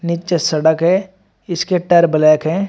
नीचे सड़क है इसके टायर ब्लैक है।